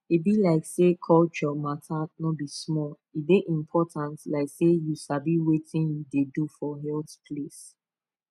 e be like say culture matter no be small e dey important like say you sabi wetin you dey do for health place